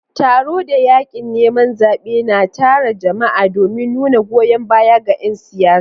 Taro da yakin neman zabe na tara jama'a domin nuna goyon baya ga 'yan siyasa.